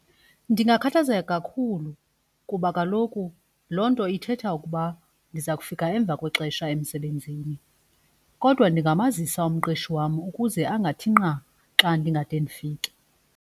Ndingakhathazeka kakhulu kuba kaloku loo nto ithetha ukuba ndiza kufika emva kwexesha emsebenzini. Kodwa ndingamazisa umqeshi wam ukuze angathi nqa xa ndingade ndifike.